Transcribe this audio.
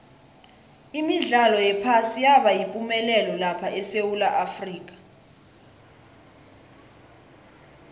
imidlalo yephasi yaba yipumelelo lapha esewula afrika